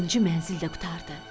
Axırıncı mənzil də qurtardı.